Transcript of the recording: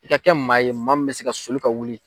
I ka kɛ maa ye maa min bɛ se ka soli ka wuli.